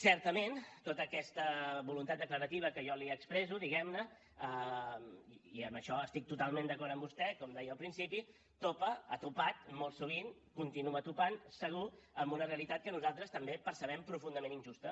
certament tota aquesta voluntat declarativa que jo li expresso diguem ne i en això estic totalment d’acord amb vostè com deia al principi topa ha topat molt sovint continua topant segur amb una realitat que nosaltres també percebem profundament injusta